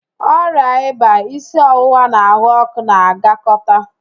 Ọrịa ịba, isi ọwụwa na ahụ ọ́kụ́ na-agakọta